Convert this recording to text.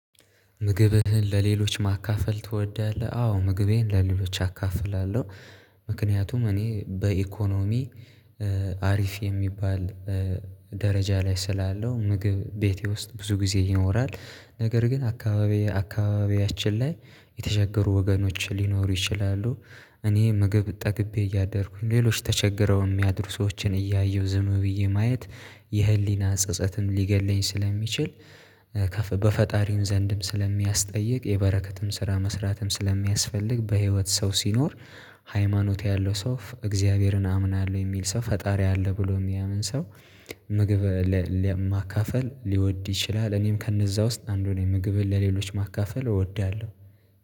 ምግብህን ለሌሎች ማካፈል ትወዳለህ? አዎ ምግቤን ለሌሎች አካፍላለሁ። ምክንያቱም እኔ በኢኮኖሚ አሪፍ የሚባል ደረጃ ላይ ስላለው ምግብ ቤቴ ውስጥ ብዙ ጊዜ ይኖራል። ነገር ግን አካባቢየ አካባቢያችን ላይ የተቸገሩ ወገኖችን ሊኖሩ ይችላሉ። እኔ ምግብ ጠግቤ እያደርኩኝ ሌሎች ተቸግረው የሚያደርጉ ሰዎችን እያየሁ ዝም ብዬ ማየት። የህሊና ጸጸትም ሊገድለኝ ስለሚችል በፈጣሪም ዘንድም ስለሚያስጠይቅ የበረከትን ስራ መስራትም ስለሚያስፈልግ በህይወት ሰው ሲኖር። ሃይማኖት ያለው ሰው እግዚአብሔርን አምናለሁ የሚል ሰው ፈጣሪ አለ ብሎ የሚያምን ሰው። ምግብ ለማካፈል ሊወድ ይችላል። እኔም ከነዛ ውስጥ አንዱን የምግብ እህል ለሌሎች ማካፈል እወዳለሁ